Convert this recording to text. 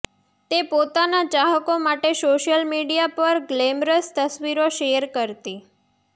તે પોતાના ચાહકો માટે સોશિયલ મીડિયા પર ગ્લેમરસ તસ્વીરો શેર કરતી